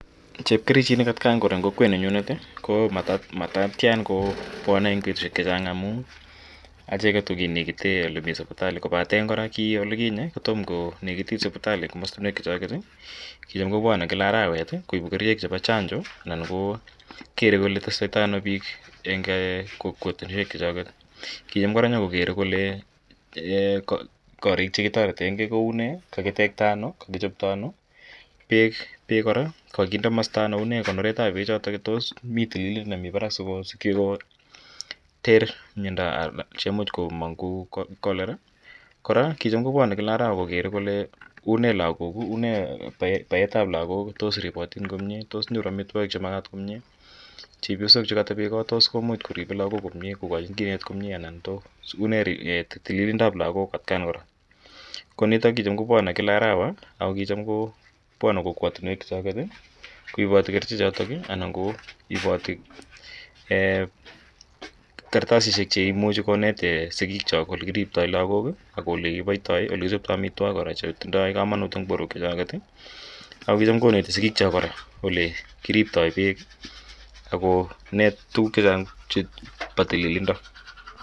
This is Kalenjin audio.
Chepkerichinik atkan kora eng' kokwaninyunet ko mat tian kopwane eng' petushek che chang' amu acheget ko kinekite ole sipitali kopaten kora ki ole kinye ko toma konekitit sipitali komastinwek chuchoket i kicham kopwane kila atrawet koipu kerichek chepo chanjo anan kokere kole testai tai ano piik eng' kokwatunwek chuchoket. Kicham nyu kokere kora kariik che ki tareten gei ko u ne, kakitekta ano, kakichopto ano, peek kora ko kakinde komasta ano, tos u ne konoret ap pechotok tos mi tililindo nwmi parak asikopit koter miando che imuch komang' kou Cholera. Kora ko kicham kopwane kila arawa kokere kole une lagok. Une paet ap lagok, tos ripatin komye, tos nyoru amitwogik che makatin komye? Chepyosok che katepe kot ko much koripe lagok komye, kokachin kinet komye anan tos une tililindoap lagok atkan kora. Ko nitok kicham kopwane kila arawa ako kicham kopwane kokwatinwek chu choket koipati kerichotok anan ko ipati kartasishek che imuchi konet sikiikchok ole kiriptai lagok ak ole kipaitai ak ole kichoptai amitwogik kora che tindai kamanut eng' porwek chuchoket. Ako kicham koneti sikiikchok kora ole kiriptai peek ak konet tuguuk che chang' chepo tililindo.